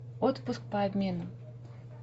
отпуск по обмену